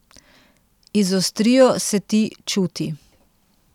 Izostrijo se ti čuti.